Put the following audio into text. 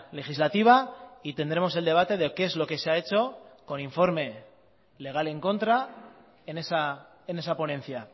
legislativa y tendremos el debate de qué es lo que se ha hecho con informe legal en contra en esa ponencia